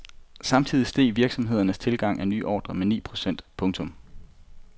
Samtidig steg virksomhedernes tilgang af nye ordre med ni procent. punktum